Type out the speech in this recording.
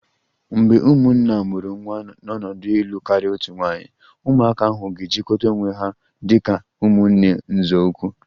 Mgbe ndị nwunye a mụrụ nwa n'ọnọdụ ịlụ karịa otu nwaanyị, ụmụaka ahụ ga-ejikọta onwe ha dị ka ụmụnne nzọụkwụ